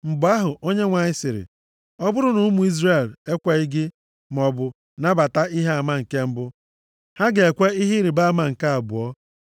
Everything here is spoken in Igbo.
Mgbe ahụ Onyenwe anyị sịrị, “Ọ bụrụ na ụmụ Izrel ekweghị gị maọbụ nabata ihe ama nke mbụ, ha ga-ekwe ihe ịrịbama nke abụọ a.